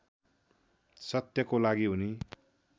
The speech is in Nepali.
सत्यको लागि उनी